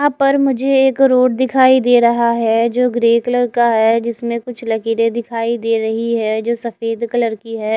यहा पे मुझे एक रोड दिखाई दे रहा है जो ग्रे कलर का है जिसमे कुछ लकीरे दिखाई दे रही है जो सफेद कलर की है।